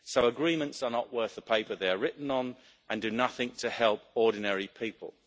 So agreements are not worth the paper they are written on and do nothing to help ordinary people.